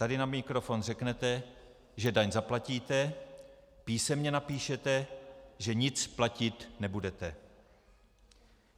Tady na mikrofon řeknete, že daň zaplatíte, písemně napíšete, že nic platit nebudete.